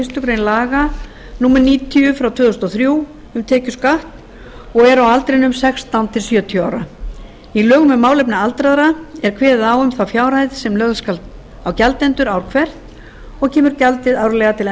fyrstu grein laga númer níutíu tvö þúsund og þrjú um tekjuskatt og eru á aldrinum sextán til sjötíu ára í lögum um málefni aldraðra er kveðið á um þá fjárhæð sem lögð skal á gjaldendur ár hvert og kemur gjaldið árlega til